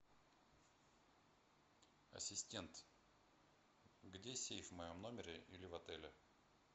ассистент где сейф в моем номере или в отеле